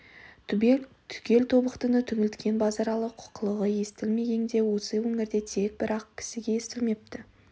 түгел тобықтыны түңілткен базаралы қылығы естіл-мегеңде осы өңірде тек бір-ак кісіге естілмепті